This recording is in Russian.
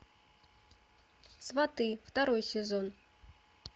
сваты второй сезон